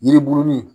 Yiri burunin